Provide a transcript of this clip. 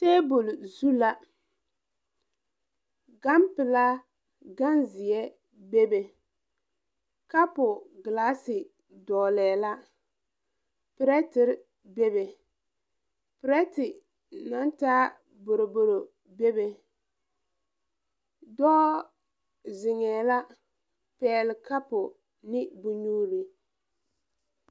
Tabole zu la ganpilaa ganzeɛ bebe kapu glaase dɔglɛɛ la pirɛterre bebe pirɛte naŋ taa boroboro bebe dɔɔ zeŋɛɛ la pɛɛle kapu ne bonnyuure.